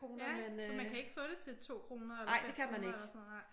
Ja for man kan ikke få det til 2 kroner eller 5 kroner eller sådan noget nej